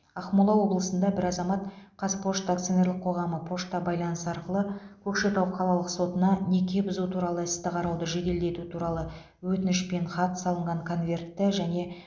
ақмола облысында бір азамат қазпошта акционерлік қоғамы пошта байланысы арқылы көкшетау қалалық сотына неке бұзу туралы істі қарауды жеделдету туралы өтінішпен хат салынған конвертті және